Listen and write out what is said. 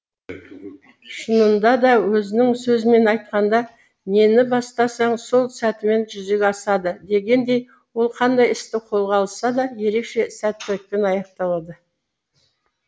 шынында да өзінің сөзімен айтқанда нені бастасаң сол сәтімен жүзеге асады дегеніндей ол қандай істі қолға алса да ерекше сәттілікпен аяқтап шығатын